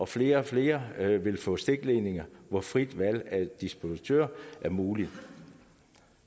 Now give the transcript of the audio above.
flere og flere vil få stikledninger hvor frit valg af distributør er muligt